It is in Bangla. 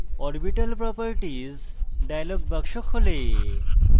orbital properties dialog box খোলে